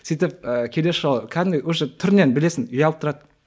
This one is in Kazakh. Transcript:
сөйтіп і келесі жолы кәдімгідей уже түрінен білесің ұялып тұрады